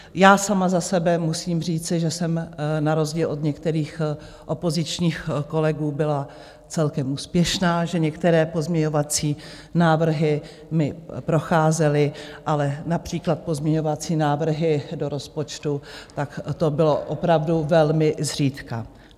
Já sama za sebe musím říci, že jsem na rozdíl od některých opozičních kolegů byla celkem úspěšná, že některé pozměňovací návrhy mi procházely, ale například pozměňovací návrhy do rozpočtu, tak to bylo opravdu velmi zřídka.